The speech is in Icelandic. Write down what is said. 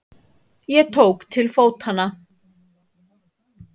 Ég tók til fótanna.